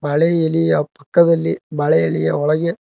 ಬಾಳೆ ಎಲೆಯ ಪಕ್ಕದಲ್ಲಿ ಬಾಳೆ ಎಲೆಯ ಒಳಗೆ--